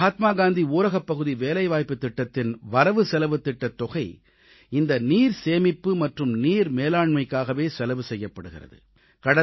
மகாத்மா காந்தி ஊரகப்பகுதி வேலைவாய்ப்புத் திட்டத்தின் வரவுசெலவுத் திட்டத் தொகை இந்த நீர்சேமிப்பு மற்றும் நீர் மேலாண்மைக்காகவே செலவு செய்யப்படுகிறது